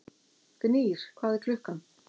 Gnýr, hvað er klukkan?